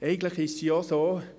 Eigentlich ist es ja auch so: